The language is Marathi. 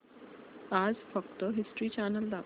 आज फक्त हिस्ट्री चॅनल दाखव